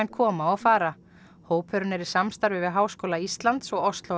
koma og fara hópurinn er í samstarfi við Háskóla Íslands og